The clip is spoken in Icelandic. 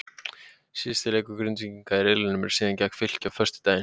Síðasti leikur Grindvíkinga í riðlinum er síðan gegn Fylki á föstudaginn.